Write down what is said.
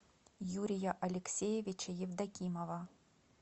юрия алексеевича евдокимова